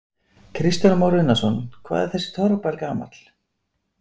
Kristján Már Unnarsson: Hvað er þessi torfbær gamall?